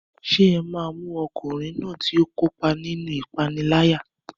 Ṣé ẹ máa mú ọkùnrin náà tí ó kópa nínú ìpániláyà?